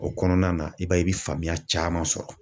O kɔnɔna na i b'a ye i bɛ faamuya caman sɔrɔ.